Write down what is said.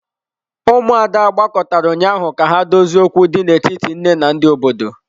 Ụmụada gbakọtara ụnyaahụ ka ha dozie okwu dị n'etiti nne na ndị obodo.